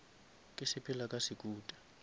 ke sepela ka sekuta